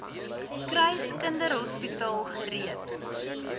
kruis kinderhospitaal gereed